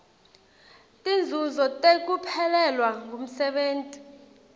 tinzuzo tekuphelelwa ngumsebenti